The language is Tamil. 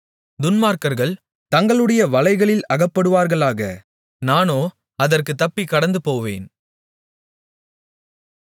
துன்மார்க்கர்கள் தங்களுடைய வலைகளில் அகப்படுவார்களாக நானோ அதற்குத் தப்பிக் கடந்துபோவேன்